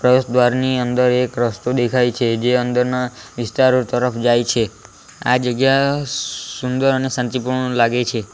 પ્રવેશ દ્વારની અંદર એક રસ્તો દેખાય છે જે અંદરના વિસ્તાર તરફ જાય છે આ જગ્યા સુંદર અને શાંતિપૂર્ણ લાગે છે.